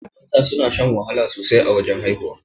Mata suna shan wahala sosai a wajan haihuwa.